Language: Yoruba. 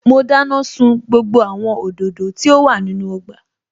Mo dáná sun gbogbo àwọn òdòdó tí ó wà nínú ọgbà